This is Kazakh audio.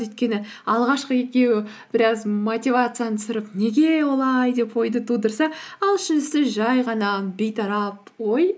өйткені алғашқы екеуі біраз мотивацияны түсіріп неге олай деп ойды тудырса ал үшіншісі жай ғана бейтарап ой